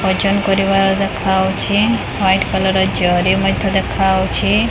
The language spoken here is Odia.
ଓଜନ କରିବାର ଦେଖାହଉଛି ୱାଇଟ୍ କଲର୍ ଜରି ମଧ୍ୟ ଦେଖାହଉଛି।